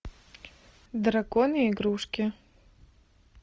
драконы игрушки